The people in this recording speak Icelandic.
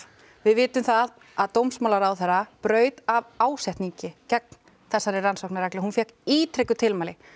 við vitum það að dómsmálaráðherra braut af ásetningi gegn þessari rannsóknarreglu hún fékk ítrekuð tilmæli